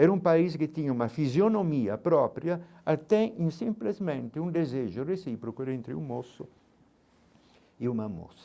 Era um país que tinha uma fisionomia própria, até em simplesmente um desejo recíproco entre um moço e uma moça.